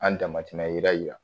An damatɛmɛ yira jira